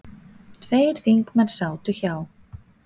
Tveir þingmenn sátu hjá.